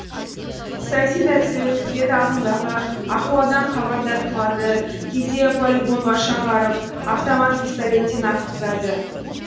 саяси дәрістер өткізеді ағымдағы ахуалдан хабардар қылады кейде полигонға шағарып автомат пистолеттен атқызады